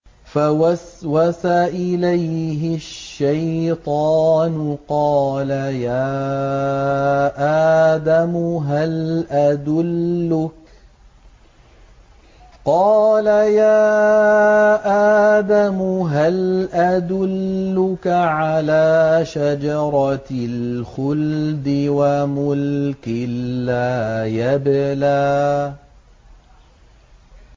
فَوَسْوَسَ إِلَيْهِ الشَّيْطَانُ قَالَ يَا آدَمُ هَلْ أَدُلُّكَ عَلَىٰ شَجَرَةِ الْخُلْدِ وَمُلْكٍ لَّا يَبْلَىٰ